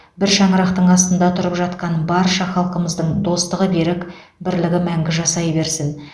бір шаңырақтың астында тұрып жатқан барша халқымыздың достығы берік бірлік мәңгі жасай берсін